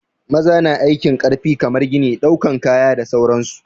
Maza na aikin ƙarfi kamar gini, ɗaukan kaya da sauran su.